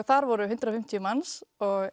þar voru hundrað og fimmtíu manns